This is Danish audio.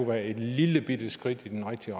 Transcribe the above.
være et lillebitte skridt i den rigtige